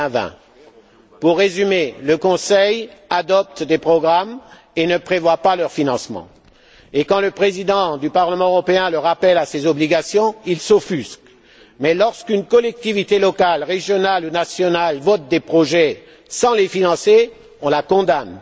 2020. Pour résumer, le Conseil adopte des programmes et ne prévoit pas leur financement. Et quand le Président du Parlement européen le rappelle à ses obligations, il s'offusque, mais lorsqu'une collectivité locale, régionale ou nationale vote des projets sans les financer, on la condamne.